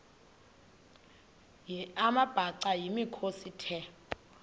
amabhaca yimikhosi the